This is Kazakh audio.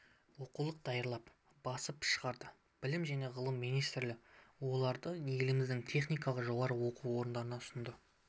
оқулық даярлап басып шығарды білім және ғылым министрлігі оларды еліміздің техникалық жоғары оқу орындарына ұсынды